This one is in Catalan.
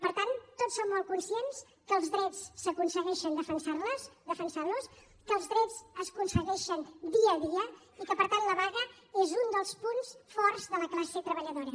per tant tots som molt conscients que els drets s’aconsegueixen defensant los que els drets s’aconsegueixen dia a dia i que per tant la vaga és un dels punts forts de la classe treballadora